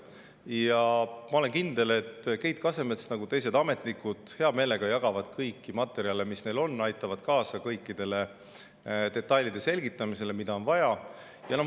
Ja ma olen kindel, et Keit Kasemets nagu ka teised ametnikud hea meelega jagab kõiki materjale, mis tal on, aitab kaasa kõikide detailide selgitamisele, mida on vaja.